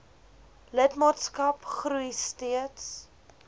lidmaatskap groei steeds